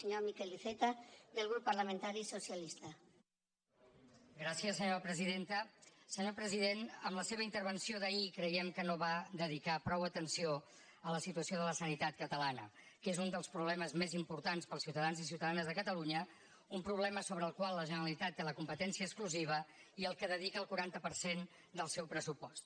senyor president en la seva intervenció d’ahir creiem que no va dedicar prou atenció a la situació de la sanitat catalana que és un dels problemes més importants per als ciutadans i ciutadanes de catalunya un problema sobre el qual la generalitat té la competència exclusiva i al qual dedica el quaranta per cent del seu pressupost